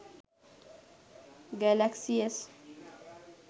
galaxy s